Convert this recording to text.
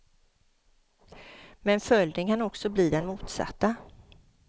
Men följden kan också bli den motsatta.